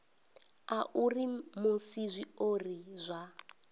a uri musi zwiori zwa